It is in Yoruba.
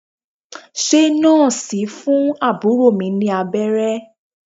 Ṣé Nọ́ọ̀sì ń fún àbúrò mi ní abẹ́rẹ́?